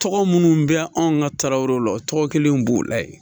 Tɔgɔ minnu bɛ anw ka tarawelew la o tɔgɔ kɛlen b'o la yen